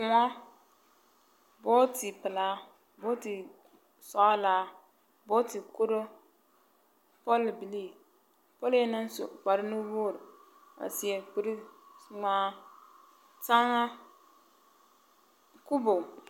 Kõɔ booti pelaa, booti sɔgelaa, booti kuruu, pɔlbilii, pɔlee naŋ su kpare nuwogiri, a seɛ kuri ŋmaa taŋa kubo ….